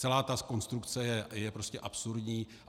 Celá ta konstrukce je prostě absurdní.